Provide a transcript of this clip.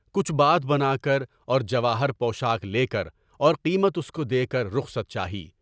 کچھ بات بنا کر اور جواہر پوشاک لے کر اور قیمت اس کو دے کر رخصت چاہی۔